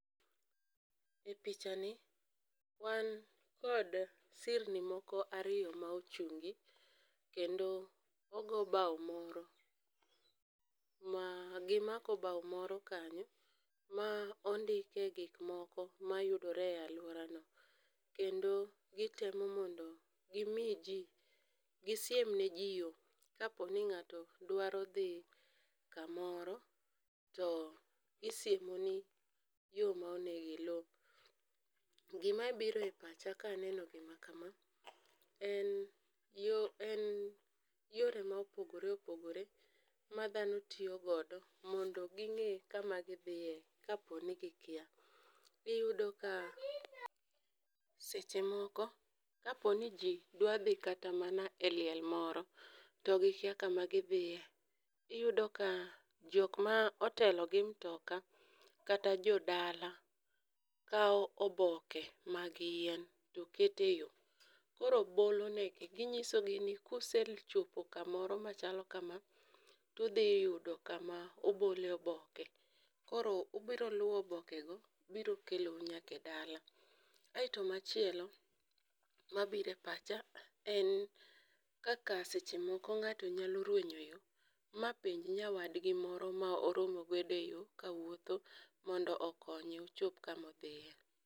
E picha ni wan kod sirni moko ariyo ma ochungi kendo ogo bao moro ma gimako bao moro kanyo ma ondike gik moko mayudore e aluorano kendo gitemo mondo gimi ji gi siem neji yo kaponi ng'ato dwaro dhi kamoro to gisiemoni yo monego ilu. Gima biro e pacha kaneno gima kama en yo en yore mopogore opogore ma dhano tiyo godo mondo ging'e kama gidhiye kopo ni gikia. Iyudo ka seche moko kaponi ji dwa dhi kata mana e liel moro to gikia kama gidhiye, iyudoka jok ma otelo gi mutoka kata jodala kawo oboke mag yien to keto eyo , koro bolonegi, ginyisogi ni ka usechopo kama chalo kama to ubiro yudo kama obolie oboke. Koro ubiro luwo obokego to biro kelou nyaka e dala. Kae to machielo, mabiro e pacha en kaka seche moko ng'ato nyalo ruenyo e yo ma penj nyawadgi moro ma oromo godo eyo mondo okonye ochop kama odhiye.